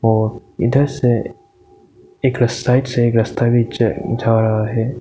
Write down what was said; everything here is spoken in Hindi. और इधर से एक र साइड से एक रस्ता भी ज जा रहा है।